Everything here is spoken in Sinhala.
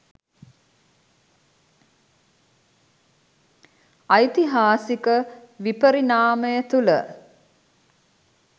ඓතිහාසික විපරිණාමය තුළ